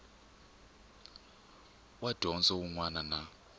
wa dyondzo wun wana na